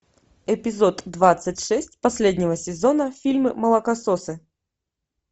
эпизод двадцать шесть последнего сезона фильма молокососы